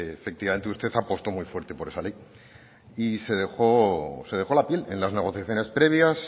efectivamente usted apostó muy fuerte por esa ley y se dejó la piel en las negociaciones previas